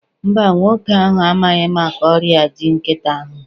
Mba, nwoke ahụ amaghị maka ọrịa ji nkịtị ahụ